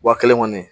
Wa kelen kɔni